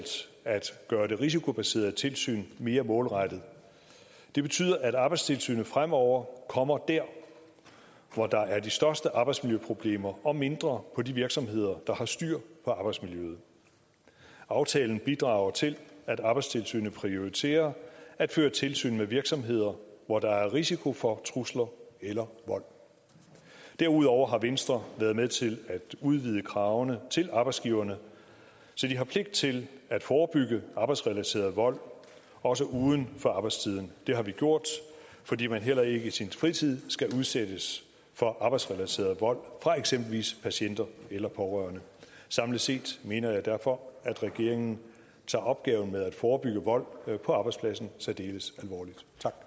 at gøre det risikobaserede tilsyn mere målrettet det betyder at arbejdstilsynet fremover kommer der hvor der er de største arbejdsmiljøproblemer og mindre på de virksomheder der har styr på arbejdsmiljøet aftalen bidrager til at arbejdstilsynet prioriterer at føre tilsyn med virksomheder hvor der er risiko for trusler eller vold derudover har venstre været med til at udvide kravene til arbejdsgiverne så de har pligt til at forebygge arbejdsrelateret vold også uden for arbejdstiden det har vi gjort fordi man heller ikke i sin fritid skal udsættes for arbejdsrelateret vold fra eksempelvis patienter eller pårørende samlet set mener jeg derfor at regeringen tager opgaven med at forebygge vold på arbejdspladsen særdeles alvorligt